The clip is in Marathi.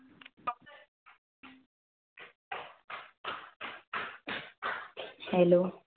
Hello